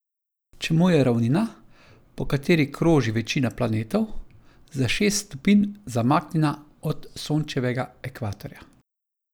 Čemu je ravnina, po kateri kroži večina planetov, za šest stopinj zamaknjena od Sončevega ekvatorja?